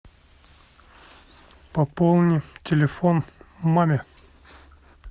пополни телефон маме